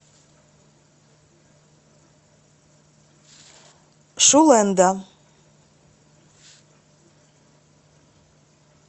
шулэндо